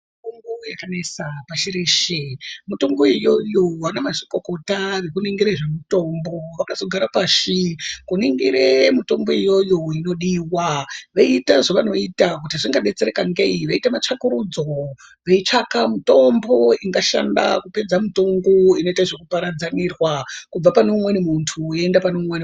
Mutombo yaka nesa pashi reshe mitombo iyoyo vana mazvikokota neku ningire zve mutombo vakazo gara pashi ku ningire mutombo iyoyo inodiwa veita zvavano ita kuti zvinga detsereka ngei veita ma tsvakurudzo vei tsvaka mutombo inga shanda kupedza mutongo inoita zveku paradza nirwa kubva pane umweni muntu yei enda pane umweni muntu.